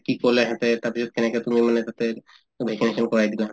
কি কলে এহেতে তাৰপিছত কেনেকে তুমি মানে তাতে vaccination কৰাই দিলা